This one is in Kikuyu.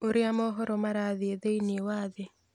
ũrĩa mohoro marathiĩ thĩinĩ wa thĩ